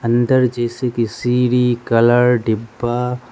अंदर जैसे की सीरी कलर डिब्बा--